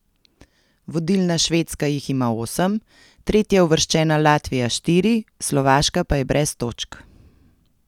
Vodilna Švedska jih ima osem, tretjeuvrščena Latvija štiri, Slovaška pa je brez točk.